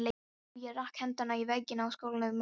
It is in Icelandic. Jú, ég rak hendina í vegginn á skólanum í morgun.